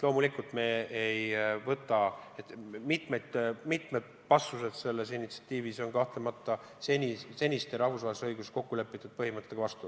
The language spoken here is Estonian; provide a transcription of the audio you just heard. Mitmed punktid selles initsiatiivis on aga kahtlemata seniste rahvusvahelises õiguses kokku lepitud põhimõtetega vastuolus.